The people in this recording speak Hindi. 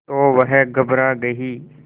तो वह घबरा गई